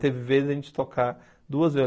Teve vezes a gente tocar duas vezes.